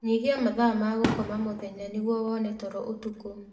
Nyihia mathaa ma gũkoma mũthenya nĩguo wone toro ũtukũ